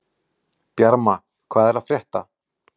Bjarma, hvað er að frétta?